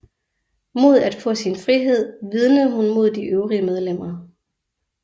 Mod at få sin frihed vidnede hun mod de øvrige medlemmer